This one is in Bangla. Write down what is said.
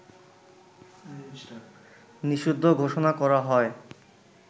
নিষিদ্ধ ঘোষণা করা হয়